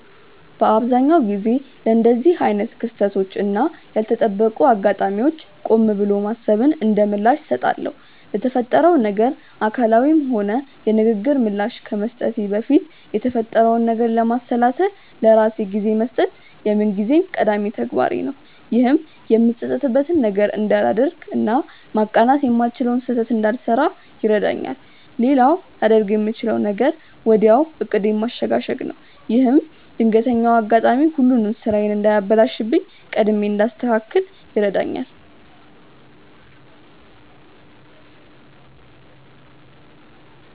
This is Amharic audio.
በአብዛኛው ጊዜ ለእንደዚህ አይነት ክስተቶች እና ያልተጠበቁ አጋጣሚዎች ቆም ብሎ ማሰብን እንደምላሽ እሰጣለሁ። ለተፈጠረው ነገር አካላዊም ሆነ የንግግር ምላሽ ከመስጠቴ በፊት የተፈጠረውን ነገር ለማሰላሰል ለራሴ ጊዜ መስጠት የምንጊዜም ቀዳሚ ተግባሬ ነው። ይህም የምጸጸትበትን ነገር እንዳላደርግ እና ማቃናት የማልችለውን ስህተት እንዳልሰራ ይረዳኛል። ሌላው ላደርግ የምችለው ነገር ወዲያው ዕቅዴን ማሸጋሸግ ነው። ይህም ድንገተኛው አጋጣሚ ሁሉንም ስራዬን እንዳያበላሽብኝ ቀድሜ እንዳስተካክል ይረዳኛል።